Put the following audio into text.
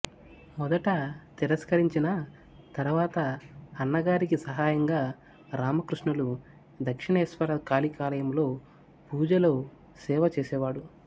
మొదట తిరస్కరించినా తర్వాత అన్నగారికి సహాయంగా రామకృష్ణులు దక్షిణేశ్వర కాళికాలయములో పూజలో సేవచేసేవాడు